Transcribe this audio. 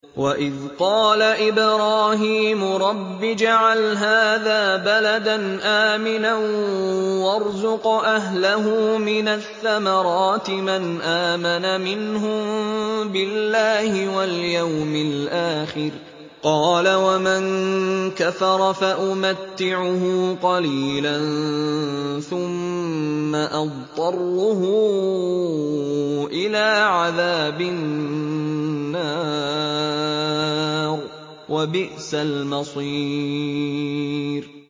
وَإِذْ قَالَ إِبْرَاهِيمُ رَبِّ اجْعَلْ هَٰذَا بَلَدًا آمِنًا وَارْزُقْ أَهْلَهُ مِنَ الثَّمَرَاتِ مَنْ آمَنَ مِنْهُم بِاللَّهِ وَالْيَوْمِ الْآخِرِ ۖ قَالَ وَمَن كَفَرَ فَأُمَتِّعُهُ قَلِيلًا ثُمَّ أَضْطَرُّهُ إِلَىٰ عَذَابِ النَّارِ ۖ وَبِئْسَ الْمَصِيرُ